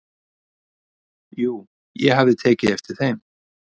"""Jú, ég hafði tekið eftir þeim."""